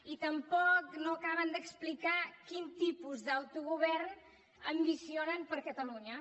i tampoc no acaben d’explicar quin tipus d’autogovern ambicionen per a catalunya